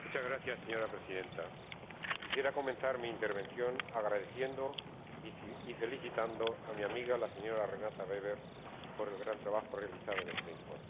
Señora Presidenta, quisiera comenzar mi intervención agradeciendo y felicitando a mi amiga la señora Weber por el gran trabajo realizado en este informe.